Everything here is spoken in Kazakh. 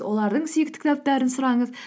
олардың сүйікті кітаптарын сұраңыз